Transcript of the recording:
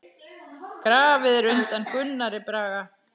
Grafið er undan Gunnari Braga.